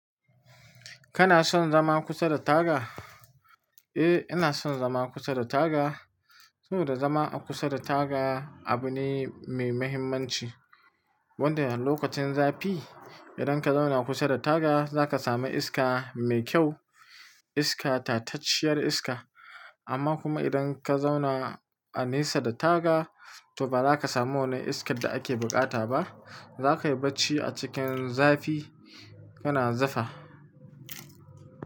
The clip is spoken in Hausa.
Kana son zama kusa da taga? Eh, ina son zama kusa da taga. Saboda zama a kusa da taga abu ne mai mahimmanci. Wanda lokacin zafi idan ka zauna kusa da taga, zaka samu iska mai kyau, iska tatacciyar iska. Amma kuma idan ka zauna a nesa da taga, to baza ka samu wannan iskar da ake buƙata ba za ka yi bacci a cikin zafi, kana zufa.